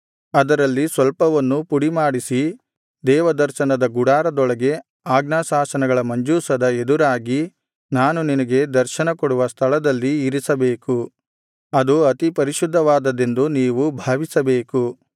ಅದರಲ್ಲಿ ಸ್ವಲ್ಪವನ್ನು ಪುಡಿಮಾಡಿಸಿ ದೇವದರ್ಶನದ ಗುಡಾರದೊಳಗೆ ಆಜ್ಞಾಶಾಸನಗಳ ಮಂಜೂಷದ ಎದುರಾಗಿ ನಾನು ನಿನಗೆ ದರ್ಶನ ಕೊಡುವ ಸ್ಥಳದಲ್ಲಿ ಇರಿಸಬೇಕು ಅದು ಅತಿ ಪರಿಶುದ್ಧವಾದದ್ದೆಂದು ನೀವು ಭಾವಿಸಬೇಕು